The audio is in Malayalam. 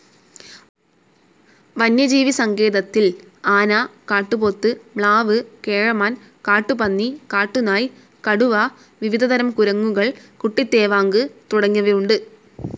വന്യജീവിസങ്കേതത്തിൽ ആന, കാട്ടുപോത്ത്, മ്ലാവ്, കേഴമാൻ, കാട്ടുപന്നി, കാട്ടുനായ്, കടുവ, വിവിധ തരം കുരങ്ങുകൾ, കുട്ടിതേവാങ്ക് തുടങ്ങിയവയുണ്ട്.